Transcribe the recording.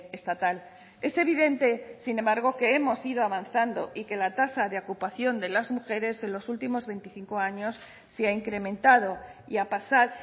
estatal es evidente sin embargo que hemos ido avanzando y que la tasa de ocupación de las mujeres en los últimos veinticinco años se ha incrementado y a pasar